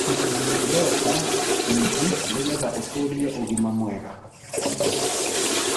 Ndũkanyũe soda nyĩngĩ nĩgetha ũtũrĩe ũgima mwega